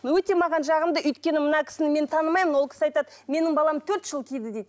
өте маған жағымды өйткені мына кісіні мен танымаймын ол кісі айтады менің балам төрт жыл киді дейді